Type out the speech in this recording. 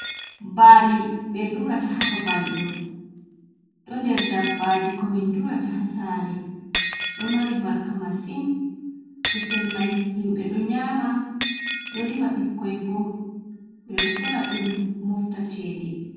Baali ɓe durata haba balɗo. Ɗo nder dabbaaji ko min durata hasare. Ɗo mari barka masin, kusel mai himɓe ɗo nyaama. Ɗo rima ɓikkoi bo. Be ɗo sora ɗum mofta cede.